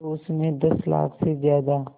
तो उस में दस लाख से ज़्यादा